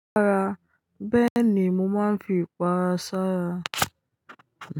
Rárá, bẹ́ẹ̀ni, mo máa ń fi pa ara, sára.